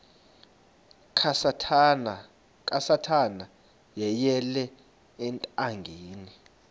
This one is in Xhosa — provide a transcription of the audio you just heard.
kasathana yeyele ethangeni